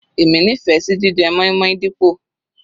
Èmi nífẹ̀ẹ́ sí jíjẹ moin-moin dípò.